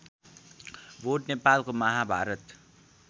बोट नेपालको महाभारत